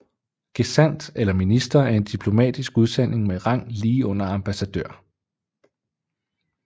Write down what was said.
Gesandt eller minister er en diplomatisk udsending med rang lige under ambassadør